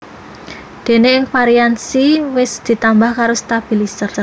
Déné ing varian Xi wis ditambah karo stabilizer